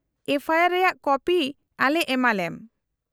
-ᱮᱯᱷᱚ I R ᱨᱮᱭᱟᱜ copy ᱟᱞᱮ ᱮᱢᱟᱞᱮᱢ ᱾